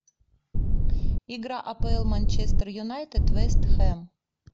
игра апл манчестер юнайтед вест хэм